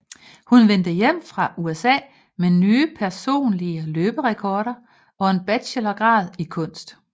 Hun vende hjem fra USA med nye personlige løberekorder og en bachelorgrad i kunst